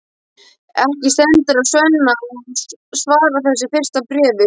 Ekki stendur á Svenna að svara þessu fyrsta bréfi.